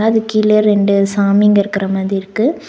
அது கீழ ரெண்டு சாமிங்க இருக்குற மாதி இருக்கு.